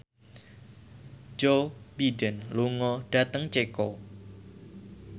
Joe Biden lunga dhateng Ceko